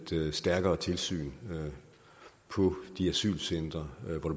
stærkere tilsyn på de asylcentre